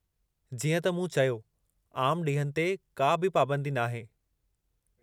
जीअं त मूं चयो, आमु ॾींहनि ते का बि पाबंदी नाहे।